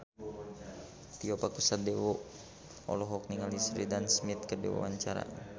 Tio Pakusadewo olohok ningali Sheridan Smith keur diwawancara